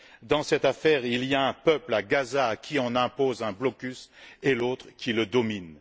Dans cette affaire, il y a un peuple à Gaza à qui on impose un blocus, et l'autre qui le domine.